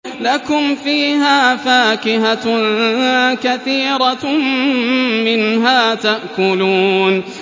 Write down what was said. لَكُمْ فِيهَا فَاكِهَةٌ كَثِيرَةٌ مِّنْهَا تَأْكُلُونَ